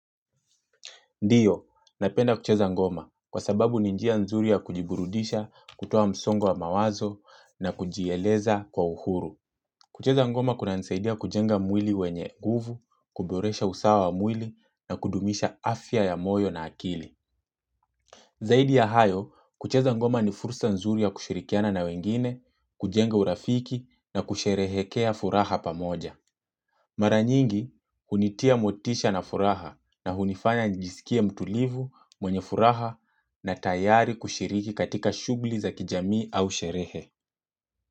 Ndiyo, napenda kucheza ngoma kwa sababu ni njia nzuri ya kujiburudisha, kutoa msongo wa mawazo na kujieleza kwa uhuru. Kucheza ngoma kunanisaidia kujenga mwili wenye guvu, kuboresha usawa wa mwili na kudumisha afya ya moyo na akili. Zaidi ya hayo, kucheza ngoma ni fursa nzuri ya kushirikiana na wengine, kujenga urafiki na kusherehekea furaha pamoja. Mara nyingi hunitia motisha na furaha na hunifanya nijisikie mtulivu, mwenye furaha na tayari kushiriki katika shughuli za kijamii au sherehe.